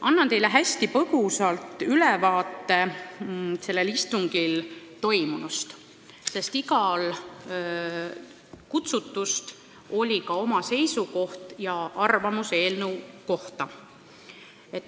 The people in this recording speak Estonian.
Annan teile hästi põgusalt ülevaate sellel istungil toimunust, sest igal kutsutul oli ka oma seisukoht ja arvamus eelnõu kohta.